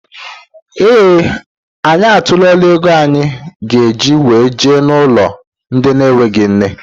Ee anyị atuola égo anyị ga -eji wee jee n' ụlọ ndị na enweghị nne.